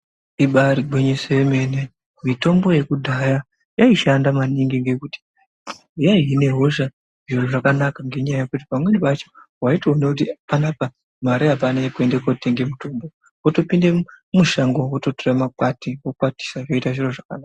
Ibaari gwinyiso yemene, mitombo yekudhaya yaishanda maningi ngekuti yaihine hosha zvakanaka ngenyaya yekuti pamweni pacho waitoona kuti panapa mare apana uekuende kootenga mutombo wotopinde mushango wototora makwati wokwatisa zvoita zviro zvakanaka.